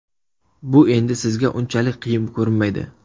Bu endi sizga unchalik qiyin ko‘rinmaydi.